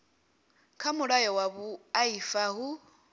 kha mulayo wa vhuaifa hu